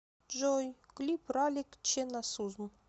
джой клип ралик чхе насузм